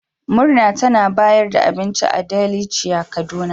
Murna tana bayar da abinci a Delicia kaduna.